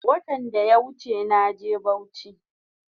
Watan daya wuche naje bauchi